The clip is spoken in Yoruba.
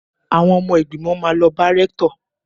Àwọn ọmọ ìgbìmọ̀ máa lọ bá rẹ́ktọ̀.